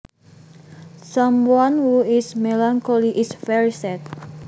Someone who is melancholy is very sad